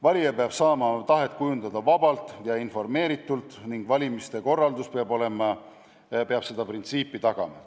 Valija peab saama oma tahet kujundada vabalt ja informeeritult ning valimiste korraldus peab selle printsiibi järgimist tagama.